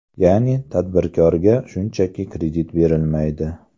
Ya’ni, tadbirkorga shunchaki kredit berilmaydi.